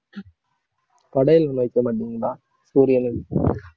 படையல்கள் வைக்க மாட்டீங்களா சூரியனுக்கு